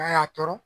A y'a tɔɔrɔ